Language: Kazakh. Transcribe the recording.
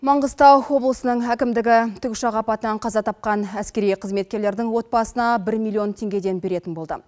маңғыстау облысының әкімдігі тікұшақ апатынан қаза тапқан әскери қызметкерлердің отбасына бір миллион теңгеден беретін болды